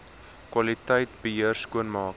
kwaliteit beheer skoonmaak